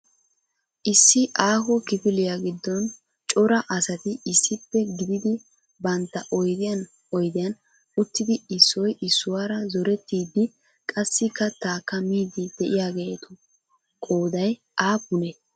Issi aaho kifiliyaa giddon cora asati issipe gididi bantta oydiyan oydiyan uttidi issoy issuwaara zorettiidi qassi kattaakka miidi de'iyaageetu qooday aappunee?